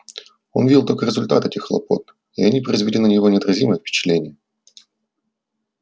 он видел только результаты этих хлопот и они производили на него неотразимое впечатление